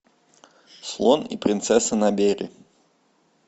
слон и принцесса набери